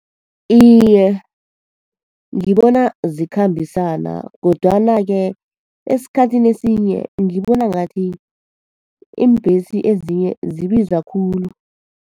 Iye, ngibona zikhambisana. Kodwana-ke esikhathini esinye ngibona ngathi iimbhesi ezinye zibiza khulu.